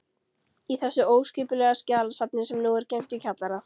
Í þessu óskipulega skjalasafni, sem nú er geymt í kjallara